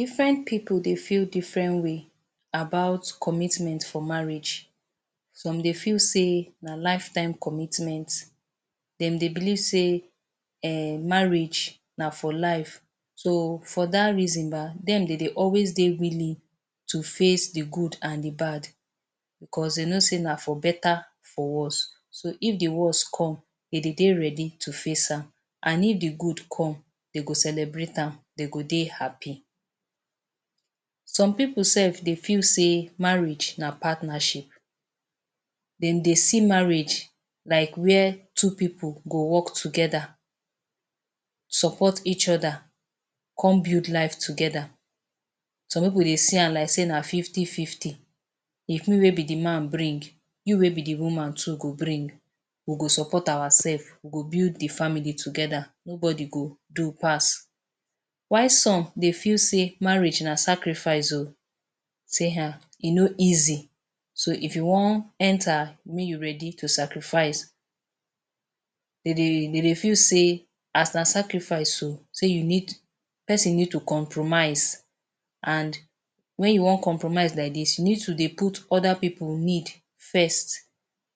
Different pipu dey feel different way about commitment for marriage. Some dey feel sey na lifetime commitment. Dem dey believe sey um marriage na for life. So, for dat reason um, dem dey dey always dey willing to face the good an the bad becos de know sey na for better, for worse. So, if the worse come, dem dey dey ready to face am. An if the good come, de go celebrate am, de go dey happy. Some pipu sef dey feel sey marriage na partnership. Dem dey see marriage like where two pipu go work together, support each other, come build life together. Some pipu dey see am like sey na fifty-fifty. If me wey be the man bring, you wey be the woman too go bring. We go support oursef, we go build the family the together, nobody go do pass. While some dey feel sey marriage na sacrifice um. Say um e no easy. So, if you wan enter, may you ready to sacrifice. De dey de dey feel sey as na sacrifice um, sey you need pesin need to compromise an wen you wan compromise like dis, you need to dey put other pipu need first.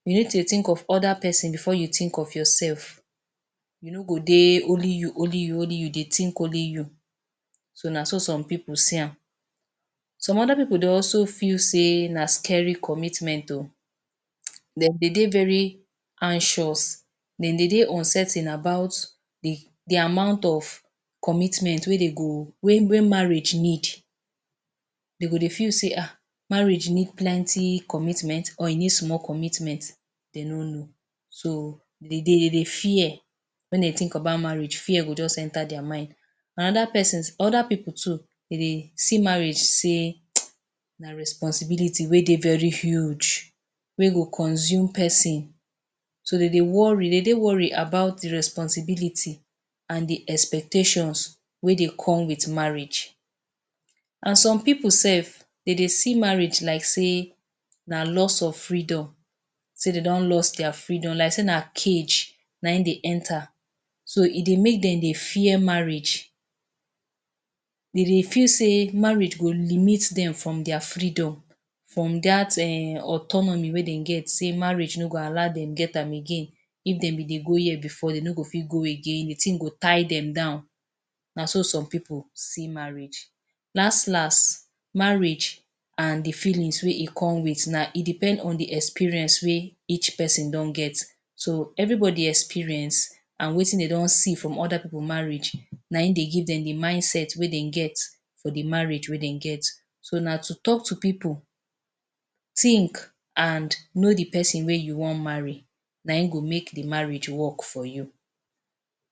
You need to think of other pesin before you think of yourself. You no go dey only you, only you, only you, de think only you. So, na so some pipu see am. Some other pipu dey also feel sey na scary commitment um. Dem dey dey very anxious. Dem dey dey uncertain about the the amount of commitment wey dey go wey wey marriage need. De go dey feel sey ah marriage need plenty commitment or e need small commitment. De no know. So, de dey de dey fear. Wen de think about marriage, fear go juz enter dia mind. Another pesons other pipu too de dey see marriage sey na responsibility wey dey very huge, wey go consume peson. So, de dey worry, de dey worry about the responsibility an the expectations wey dey come with marriage. An some pipu sef, de dey see marriage like sey na loss of freedom sey de don loss dia freedom like sey na cage na ein dey enter. So, e dey make dem dey fear marriage. De dey feel sey marriage go limit dem from dia freedom from dat um autonomy wey de get sey marriage no go allow dem get am again. If dem be dey go here before, de no go fit go again. The tin go tie dem down. Na so some pipu see marriage. Las las, marriage an the feelings wey e come with na e depend on the experience wey each pesin don get. So, everybody experience an wetin de don see from other pipu marriage, na ein dey give dem the mindset wey de get for the marriage wey dey get. So, na to talk to pipu, think, an know the pesin wey you wan marry. Na ein go make the marriage work for you.